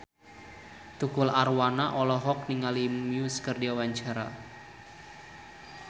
Tukul Arwana olohok ningali Muse keur diwawancara